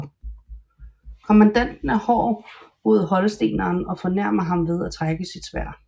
Kommandanten er hård mod holsteneren og fornærmer ham ved at trække sit sværd